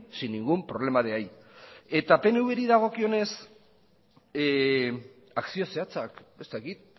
sin ningún problema de ahí eta pnvri dagokionez akzio zehatzak ez dakit